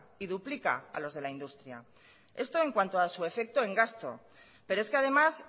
y duplica a los de la industria esto en cuanto a su efecto en gasto pero es que además